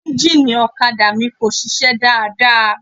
Ẹ́ńjínnìì ọ̀kadà mi kò sisẹ́ dáadáa.